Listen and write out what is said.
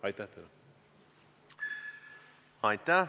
Aitäh!